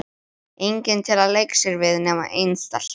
Enginn til að leika sér við nema ein stelpa.